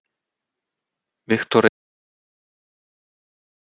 Viktoría: Má ég prófa?